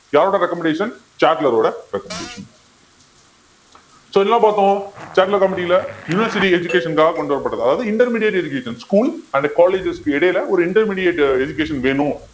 யாரோட recommendation சாட்லரோட recommendation so என்னா பார்த்தோம் சாட்லர் committee ல university education க்காக கொண்டுவரப்பட்டது அதாவது intermediate education schools and colleges க்கு இடையில ஒரு intermediate education வேணும்